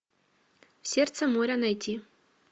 сердце моря найти